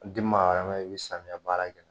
Den maa i bi samiya baara kɛ